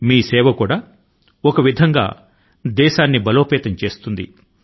మీ వైపు నుండి మీరు చేసే ఈ సహాయం దేశాని కి ఏదో ఒక రకం గా బలాన్ని చేకూరుస్తుంది